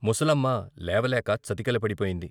ముసలమ్మ లేవలేక చతికిల పడిపోయింది.